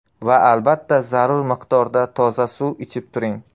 Va albatta zarur miqdorda toza suv ichib turing.